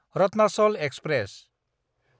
Ratnachal express